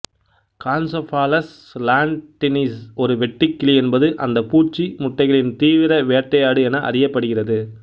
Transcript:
கான்செபாலஸ் லாண்ட்டின்னிஸ் ஒரு வெட்டுக்கிளி என்பது அந்துப்பூச்சி முட்டைகளின் தீவிர வேட்டையாடு என அறியப்படுகிறது